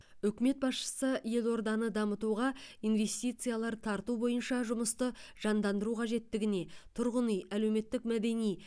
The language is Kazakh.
үкімет басшысы елорданы дамытуға инвестициялар тарту бойынша жұмысты жандандыру қажеттігіне тұрғын үй әлеуметтік мәдени